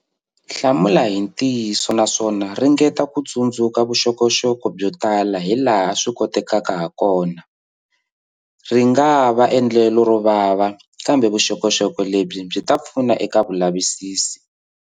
Hlamula hi ntiyiso naswona ringeta ku tsundzuka vuxokoxoko byo tala hilaha swi kotekaka hakona. Ri nga va endlelo ro vava, kambe vuxokoxoko lebyi byi ta pfuna eka vulavisisi.